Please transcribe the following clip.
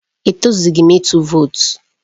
E tọzubeghi m ịtụ vootu